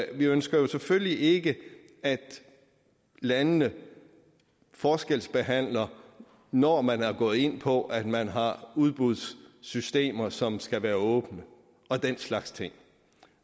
ønsker jo selvfølgelig ikke at landene forskelsbehandler når man er gået ind på at man har udbudssystemer som skal være åbne og den slags ting